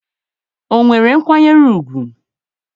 o nwere nkwanye ugwu?